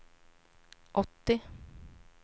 åttio